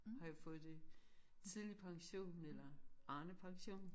Har jeg fået det tidlig pension eller Arnepension